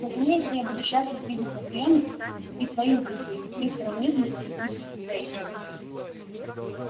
разумеется я буду счастлив видеть на приёме и твоих друзей мастера уизли и миссис грэйнджер